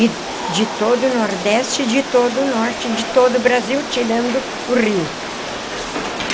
e de todo o Nordeste, de todo o Norte, de todo o Brasil, tirando o Rio.